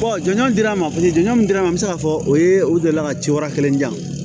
jɔnjɔn dira n ma paseke jɔn dira n ma n bɛ se k'a fɔ o ye o delila ka ci wɛrɛ kelen di yan